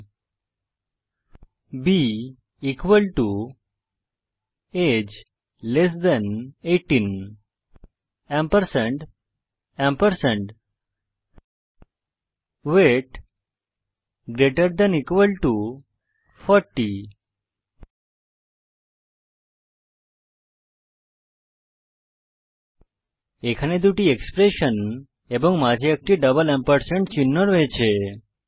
b equal to age less than 18 ampersand ampersand weight greater than equal to 40 এখানে দুটি expression এবং মাঝে একটি ডবল এম্পারস্যান্ড চিহ্ন রয়েছে